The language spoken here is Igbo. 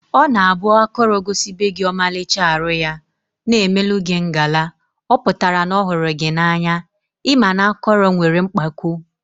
Ọ na abụ akọrọ gosibegi ọmalịcha arụ ya, na emelụ gị ngala, ọpụtara na ọhụrụ gị na anya, ị ma na akọrọ nwere mkpako